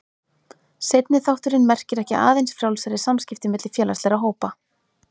Seinni þátturinn merkir ekki aðeins frjálsari samskipti milli félagslegra hópa.